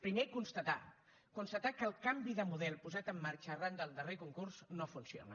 primer constatar constatar que el canvi de model posat en marxa arran del darrer concurs no funciona